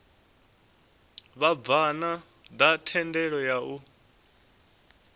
vhabvann ḓa thendelo ya u